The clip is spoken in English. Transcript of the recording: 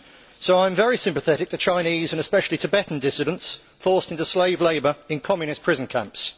So I am very sympathetic to Chinese, and especially Tibetan, dissidents forced into slave labour in Communist prison camps.